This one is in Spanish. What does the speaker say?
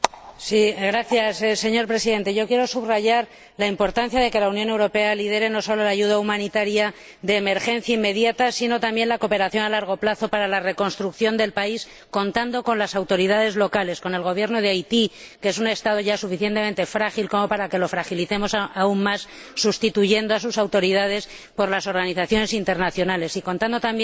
Señor Presidente, quiero subrayar la importancia de que la Unión Europea lidere no sólo la ayuda humanitaria de emergencia inmediata, sino también la cooperación a largo plazo para la reconstrucción del país, contando con las autoridades locales, con el Gobierno de Haití, que es un Estado ya suficientemente frágil como para que lo fragilicemos aún más, sustituyendo a sus autoridades por las organizaciones internacionales, y contando también con las organizaciones